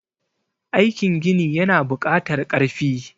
aikin gini yana bukatar karfi